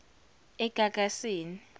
egagasini